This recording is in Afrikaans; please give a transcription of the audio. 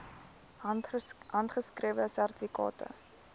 handgeskrewe sertifikate